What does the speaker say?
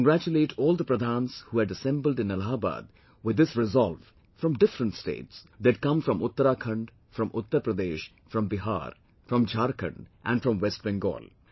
I congratulate all the Pradhans who had assembled in Allahabad with this resolve from different States; they had come from Uttrakhand, from Uttar Pradesh, from Bihar, from Jharkhand and from West Bengal